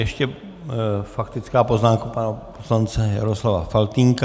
Ještě faktická poznámka pana poslance Jaroslava Faltýnka.